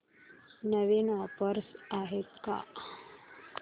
नवीन offers आहेत का